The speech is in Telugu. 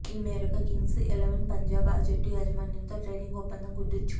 ఈ మేరకు కింగ్స్ ఎలెవన్ పంజాబ్ ఆ జట్టు యాజమాన్యంతో ట్రేడింగ్ ఒప్పందం కుదుర్చుకుంది